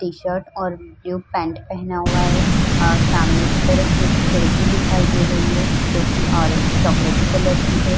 T shirt और जो pant पेहना हुआ है। अ सामने की तरफ कुछ खिड़की दिखाई दे रही है जो कि ओरन चोकोलाटी कलर की है।